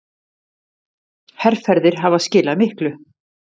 Herferðir hafa skilað miklu.